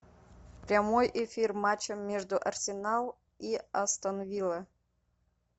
прямой эфир матча между арсенал и астон вилла